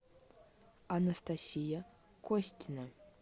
анастасия костина